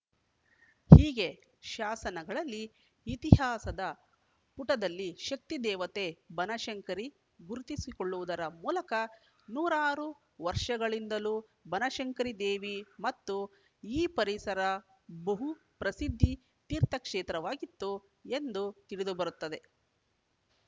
ಹೀಗೆ ಶಾಸನಗಳಲ್ಲಿ ಇತಿಹಾಸದ ಪುಟದಲ್ಲಿ ಶಕ್ತಿದೇವತೆ ಬನಶಂಕರಿ ಗುರುತಿಸಿಕೊಳ್ಳುವುದರ ಮೂಲಕ ನೂರಾರು ವರ್ಷಗಳಿಂದಲೂ ಬನಶಂಕರಿದೇವಿ ಮತ್ತು ಈ ಪರಿಸರ ಬಹುಪ್ರಸಿದ್ಧಿ ತೀರ್ಥಕ್ಷೇತ್ರವಾಗಿತ್ತು ಎಂದು ತಿಳಿದುಬರುತ್ತಿದೆ